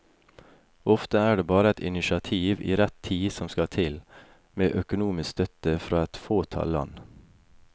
Ofte er det bare et initiativ i rett tid som skal til, med økonomisk støtte fra et fåtall land.